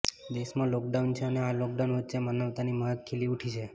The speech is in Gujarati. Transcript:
દેશમાં લોકડાઉન છે અને આ લોકડાઉન વચ્ચે માનવતાની મહેક ખીલી ઉઠી છે